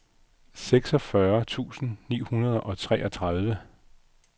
seksogfyrre tusind ni hundrede og toogtredive